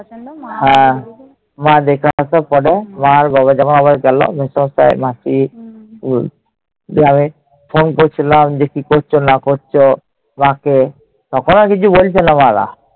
মা দেখে আসার পরে, মা আর বাবা যখন আবার গেল মেসোমশাই, মাসি। দিয়ে আমি phone করছিলাম যে কি করছ না করছ- মা কে, তখনও কিছু বলছে না মারা।